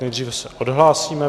Nejdříve se odhlásíme.